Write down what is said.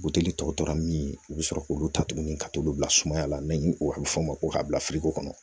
Buteli tɔ tora min u bi sɔrɔ k'olu ta tuguni ka t'olu bila sumaya la ni o bɛ fɔ o ma ko ka bila firigo kɔnɔ